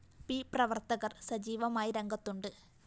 P പ്രവര്‍ത്തകര്‍ സജീവമായി രംഗത്തുണ്ട്